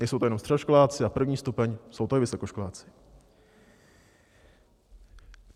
Nejsou to jenom středoškoláci a první stupeň, jsou to i vysokoškoláci.